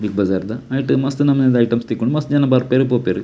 Big Bazaar ದ ನೆಟ್ಟ್ ಮಸ್ತ್ ನಮುನಿದ ಐಟೆಮ್ಸ್ ತಿಕ್ಕುಂಡು ಮಸ್ತ್ ಜನ ಬರ್ಪೆರ್ ಪೋಪೆರ್.